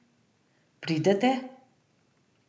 Pridete?